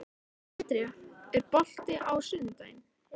André, er bolti á sunnudaginn?